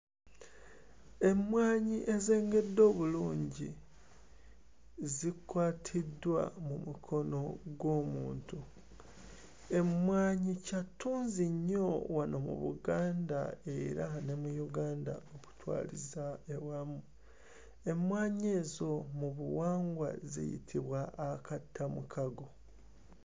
Emmwanyi ezengedde obulungi zikwatiddwa mu mukono gw'omuntu. Emmwanyi kya ttunzi nnyo wano mu Buganda era ne mu Uganda okukwaliza ewamu. Emmwanyi ezo mu buwangwa ziyitibwa akattamukago.